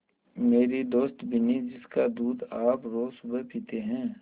मेरी दोस्त बिन्नी जिसका दूध आप रोज़ सुबह पीते हैं